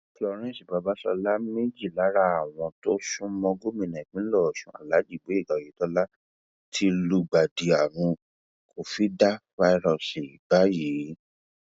florence babáṣọlá méjì lára àwọn tó sún mọ gómìnà ìpínlẹ ọṣun alhaji gboyega oyetola ti lùgbàdì àrùn covidafásiọọsì báyìí